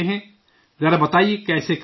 ذرا بتائیے کیسے کرتے ہیں؟